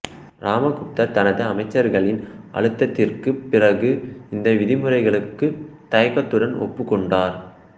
ராமகுப்தர் தனது அமைச்சர்களின் அழுத்தத்திற்குப் பிறகு இந்த விதிமுறைகளுக்கு தயக்கத்துடன் ஒப்புக் கொண்டார்